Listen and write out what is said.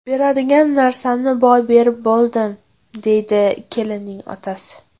Beradigan narsamni boy berib bo‘ldim”, – deydi kelinning otasi.